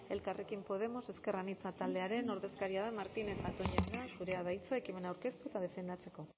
elkarrekin podemos ezker anitza taldearen ordezkaria den martínez zatón jauna zurea da hitza ekimena aurkeztu eta defendatzeko